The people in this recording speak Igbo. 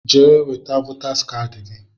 Jee weta votaas kaadị gị!